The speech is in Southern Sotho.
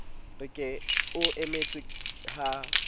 re ke o emetse ha